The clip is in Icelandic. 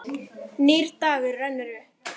Nýr dagur rennur upp.